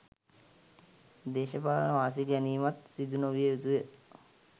දේශපාලන වාසි ගැනීමත් සිදු නොවිය යුතුයි.